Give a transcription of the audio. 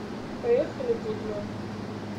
поехали гудмэн